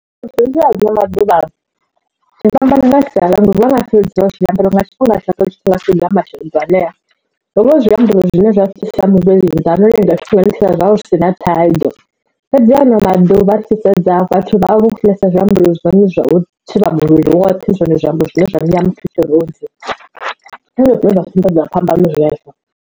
Maḓuvha zwifhambana na sialala vha nga sedza tshifhinga ambariwa nga tshifhinga shaka zwithu nga masheḓo anea hovha hu zwiambaro zwine zwa sia muvhili nnḓa ha no lenga tshifhinga nṱha zwavho zwi si na thaidzo fhedzi ha ano maḓuvha ri tshi sedza vhathu vha vho funesa zwiambaro zwone zwine zwa thivha muvhili woṱhe zwone zwiambaro zwine zwa nea muthu tshirunzi o dzi renga zwine zwa sumbedza phambano zwezwo.